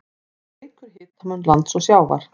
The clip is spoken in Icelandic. Það eykur hitamun lands og sjávar.